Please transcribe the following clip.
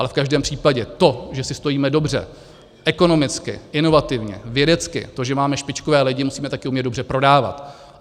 Ale v každém případě to, že si stojíme dobře, ekonomicky, inovativně, vědecky, to, že máme špičkové lidi, musíme taky umět dobře prodávat.